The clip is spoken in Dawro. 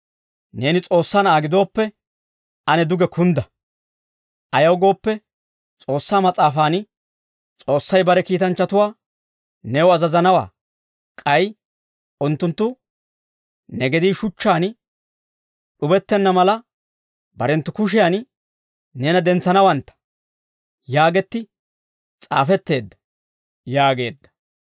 «Neeni S'oossaa Na'aa gidooppe, ane duge kundda. Ayaw gooppe, S'oossaa mas'aafaan, « ‹S'oossay bare kiitanchchatuwaa new azazanawaa› k'ay ‹Unttunttu ne gedii shuchchaan d'ubettenna mala, barenttu kushiyan neena dentsanawantta› yaagetti s'aafetteedda» yaageedda.